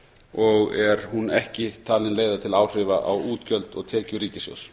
og er hún ekki talin leiða til áhrifa á útgjöld og tekjur ríkissjóðs